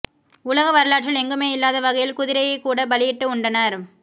உலக வரலாற்றில் எங்குமே இல்லாத வகையில் குதிரையைக் கூட பலியிட்டு உண்டனர்